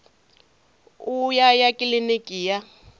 u ya ya kiliniki ya